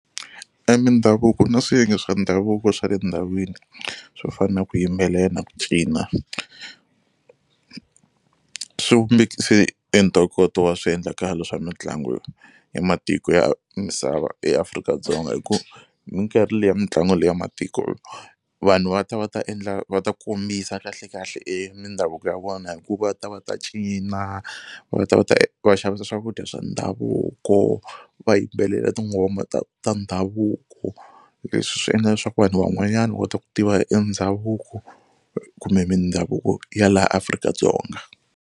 E mindhavuko na swiyenge swa ndhavuko swa le ndhawini swo fana na ku yimbelela, ku cina swi vumbekise e ntokoto wa swiendlakalo swa mitlangu ya matiko ya misava eAfrika-Dzonga hi ku minkarhi liya mitlangu leyi ya matiko vanhu va ta va ta endla va ta kombisa kahlekahle e mindhavuko ya vona hi ku va ta va ta cina, va ta va ta va xavisa swakudya swa ndhavuko, va yimbelela tinghoma ta ta ndhavuko leswi swi endla leswaku vanhu van'wanyana u kota ku tiva e ndhavuko kumbe mindhavuko ya laha Afrika-Dzonga.